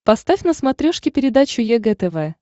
поставь на смотрешке передачу егэ тв